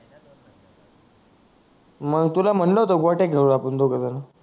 मग तुला म्हणल होत गोट्या खेडू आपण दोघ जन